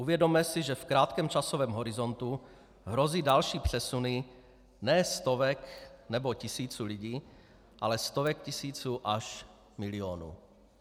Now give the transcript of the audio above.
Uvědomme si, že v krátkém časovém horizontu hrozí další přesuny ne stovek nebo tisíců lidí, ale stovek tisíců až milionů.